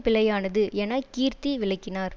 பிழையானது என கீர்த்தி விளக்கினார்